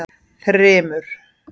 Þrymur